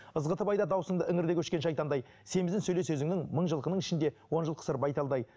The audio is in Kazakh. ызғытып айтады дауысыңды өңірде өшкен шайтандай семізін сөйле сөзіңнің мың жылқының ішінде он жыл қысыр байталдай